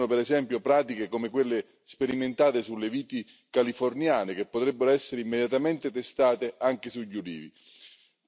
Esistono, per esempio, pratiche come quelle sperimentate sulle viti californiane, che potrebbero essere immediatamente testate anche sugli ulivi.